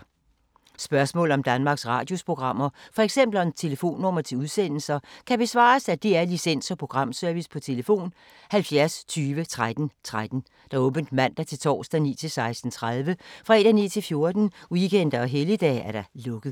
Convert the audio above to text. Spørgsmål om Danmarks Radios programmer, f.eks. om telefonnumre til udsendelser, kan besvares af DR Licens- og Programservice: tlf. 70 20 13 13, åbent mandag-torsdag 9.00-16.30, fredag 9.00-14.00, weekender og helligdage: lukket.